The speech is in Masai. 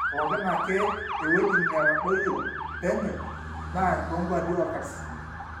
pooki ake ewueji netadoyio penye naa toonkwapi oorkarsisi